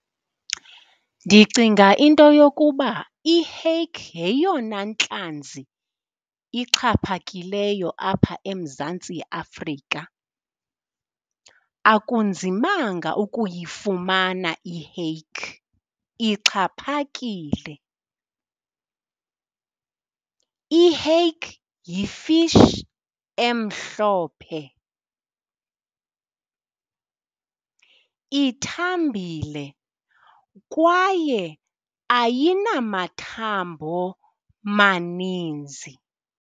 Ndicinga into yokuba i-hake yeyona ntlanzi ixhaphakileyo apha eMzantsi Afrika. Akunzimanga ukuyifumana i-hake, ixhaphakile. I-hake yi-fish emhlophe, ithambile kwaye ayinamathambo maninzi.